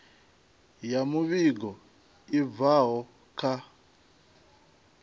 ya muvhigo i bvaho kha